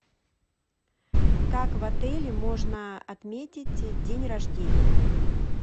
как в отеле можно отметить день рождения